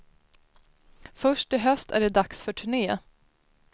Först i höst är det dags för turné.